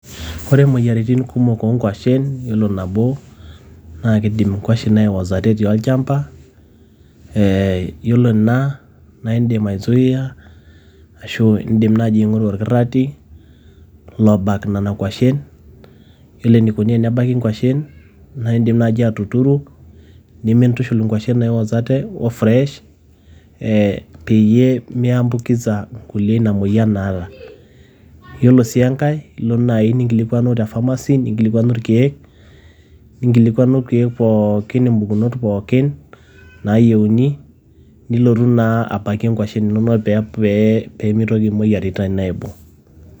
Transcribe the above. Ore moyiaritin kumok oo nkuashen, yiolo nabo naa kidim nkuashen aiwosata etii olchamba. Eeh yiolo ena naa idim aisuia ashu idim naaji aing`oru orkirrati lobak nena kuashen. Yiolo eneikoni tenebaki nkuashen naa idim naaji atuturu nimintushul nkuashen naiwosate o fresh ee peyie mi ambukiza kulie ina moyian naata. Yiolo sii enkae ilo naaji ninkilikuanu te pharmacy ninkilikuani irkiek, ninkilikuanu ilkiek pookin mpukunot pookin naayieuni nilotu naa apake nkuashen inonok pee pee mitoki moyiaritin aibung.